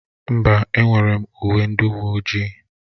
Mba, enwere m uwe ndị uwe ojii.